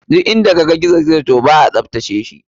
Duk inda kaga gizo gizo to ba a tatarashi.